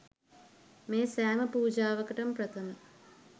මේ සෑම පූජාවකටම ප්‍රථම